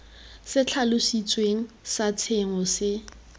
se tlhalositsweng sa tshenyo se